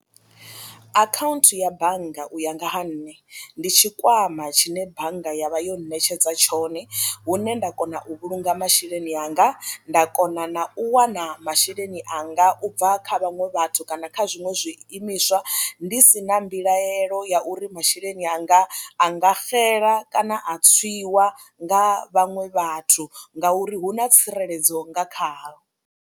Akhaunthu ya bannga u ya nga ha nṋe ndi tshikwama tshine bannga ya vha yo ṋetshedza tshone hune nda kona u vhulunga masheleni anga nda kona na u wana masheleni anga u bva kha vhaṅwe vhathu kana kha zwiṅwe zwiimiswa ndi si na mbilaelo ya uri masheleni anga a nga xela kana a tswiwa nga vhaṅwe vhathu ngauri hu na tsireledzo nga kha ho.